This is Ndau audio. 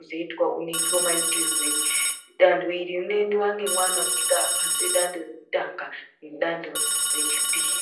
dzoitwa unoitwa maitirwei. Danho iri rinoendwa ngemwana unenge apasira dando rekutanga nedando rechipiri.